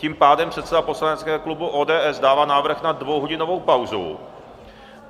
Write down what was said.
Tím pádem předseda poslaneckého klubu ODS dává návrh na dvouhodinovou pauzu.